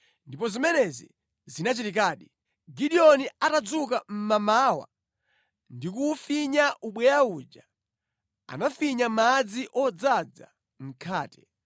Ndipo zimenezi zinachitikadi. Gideoni atadzuka mʼmamawa ndi kuwufinya ubweya uja, anafinya madzi odzaza mtsuko.